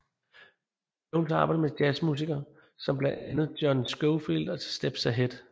Jones har arbejdet med jazz musiker som blandt andre John Scofield og Steps Ahead